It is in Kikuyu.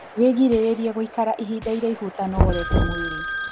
Wĩgirĩrĩrie gũikara ihinda iraihu ũtanogorete mwĩrĩ